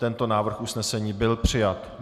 Tento návrh usnesení byl přijat.